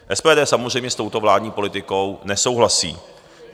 SPD samozřejmě s touto vládní politickou nesouhlasí.